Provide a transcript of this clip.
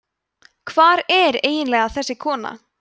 hvar er eiginlega þessi kona